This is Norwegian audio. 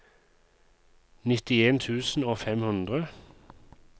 nittien tusen og fem hundre